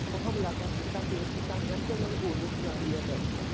ਹਮਲਾ ਕਰ ਦਿੱਤਾ ਫ਼ੇਰ ਤਾਂ ਕਰਕੇ ਉਹਨਾਂ ਨੂੰ ਗੋਲੀਆਂ ਚਲਾਉਣੀਆਂ ਪੈ ਗਈਆਂ